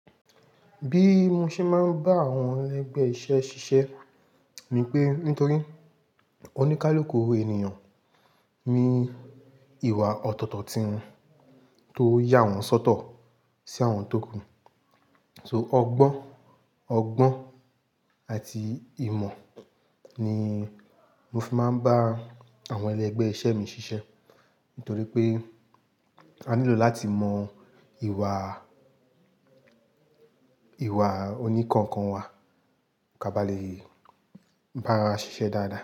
Bí mo ṣe máa ń bá àwọn ẹlẹ́gbẹ̀ẹ́ iṣẹ́ ṣiṣẹ́ ni pé nítorí oníkálukú owó ènìyàn ní ìwà ọ̀tọ̀tọ̀ tí won tó yà wọ́n sọ́tọ̀ sí àwọn tó kù. So ọgbọ́n, ọgbọ́n àti ìmọ̀ ni mo fi máa ń bá àwọn ẹlẹ́gbẹ̀ẹ́ iṣẹ́ mi ṣiṣẹ́. Nítorí pé a nílò láti mọ ìwà, ìwà oní kankan wa ká bá le bá ara ṣiṣẹ́ dáadáa.